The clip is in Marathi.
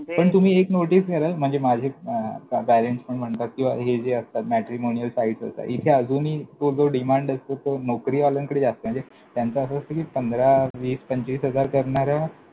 जे, पण तुम्ही एक notice कराल. म्हणजे माझे parents म्हणतात कि हे जे असतात matrimonial sites असतात. इथे अजूनही demand असतो तो नोकरीवाल्यांकडे जास्त आहे. म्हणजे त्याचं असं असतं कि पंधरा वीस पंचवीस हजार करणाऱ्या